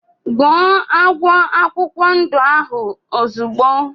Gbụo agwọ akwụkwọ ndụ ahụ ozigbo!!!